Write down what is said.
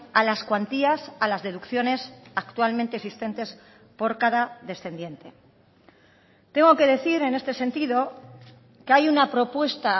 a las cuantías a las deducciones actualmente existentes por cada descendiente tengo que decir en este sentido que hay una propuesta